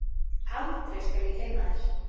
aldrei skal ég gleyma þér.